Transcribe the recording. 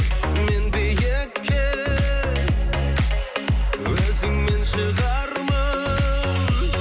мен биікке өзіңмен шығармын